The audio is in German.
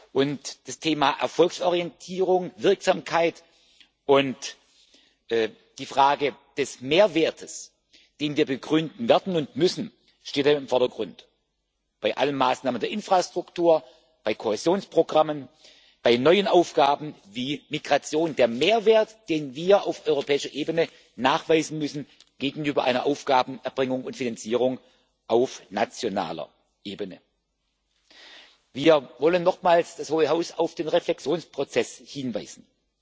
Und das Thema Erfolgsorientierung Die Wirksamkeit und die Frage des Mehrwerts, den wir begründen werden und müssen, stehen dabei im Vordergrund bei allen Maßnahmen der Infrastruktur, bei Kohäsionsprogrammen, bei neuen Aufgaben wie Migration der Mehrwert, den wir auf europäischer Ebene gegenüber einer Aufgabenerbringung und finanzierung auf nationaler Ebene nachweisen müssen. Wir wollen nochmals das Hohe Haus auf den Reflexionsprozess hinweisen.